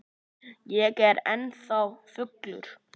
Ég er ennþá fullur.